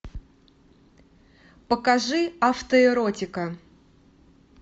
покажи автоэротика